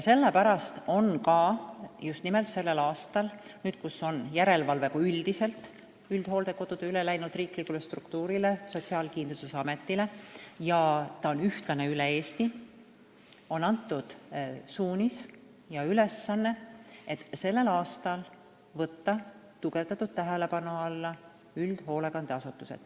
Selle pärast on sellel aastal – nüüd, kui üldhooldekodude üldine järelevalve on üle läinud riiklikule struktuurile, Sotsiaalkindlustusametile, ja see on ühtlane üle Eesti – antud suunis ja ülesanne võtta tugevdatud tähelepanu alla üldhoolekandeasutused.